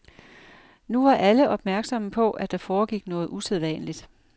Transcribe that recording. Nu var alle opmærksomme på, at der foregik noget usædvanligt.